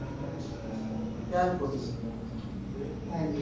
ਚਲ ਕੋਈ ਨੀ